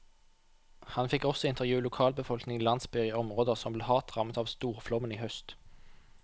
Han fikk også intervjue lokalbefolkningen i landsbyer i områder som ble hardt rammet av storflommen i høst.